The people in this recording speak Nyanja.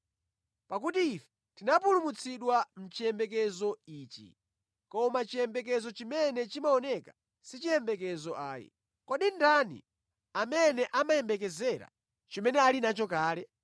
Pakuti ife tinapulumutsidwa mʼchiyembekezo ichi. Koma chiyembekezo chimene chimaoneka si chiyembekezo ayi. Kodi ndani amene amayembekezera chimene ali nacho kale?